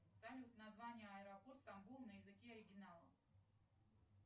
салют название аэропорта стамбул на языке оригинала